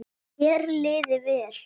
Þér liði vel.